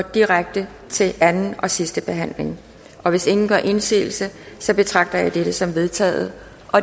direkte til anden og sidste behandling og hvis ingen gør indsigelse betragter jeg dette som vedtaget